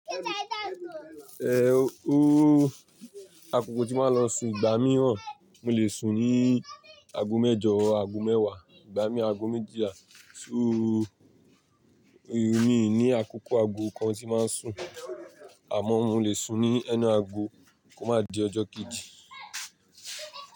Eh o, akoko tí màá lọ sun ìgbà mìíràn, mo lè sun ní ago mẹ́jọ, ago mẹ́wàá, ìgbà mìí ago méjìlá, ṣóò ó mí ìní àkókò ago kan tí màá ń sun, àmọ́ mo lè sun ní any ago kó má di ọjọ́ kejì.